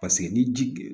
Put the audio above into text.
Paseke ni ji